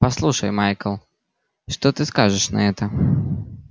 послушай майкл что ты скажешь на это